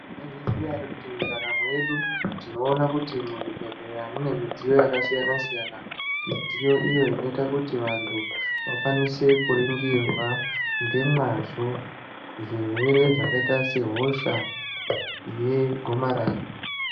Mwaizviziya ere kuti ndaramo yedu tinoona kuti yaa mune mudziyo yakasiyana siyana mudziyo iyo inoita kuti vantu vakwanise kuringirwa nemazvo zvirwere zvakaita sehosha yegomarara.